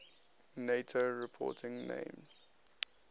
nato reporting names